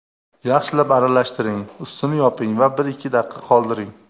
Yaxshilab aralashtiring, ustini yoping va bir-ikki daqiqa qoldiring.